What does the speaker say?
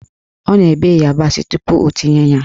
Ọ na-ebe ịyabasị tupu o tinye ya